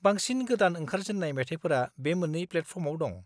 बांसिन गोदान ओंखारजेन्नाय मेथाइफोरा बे मोन्नै प्लेटफर्माव दं।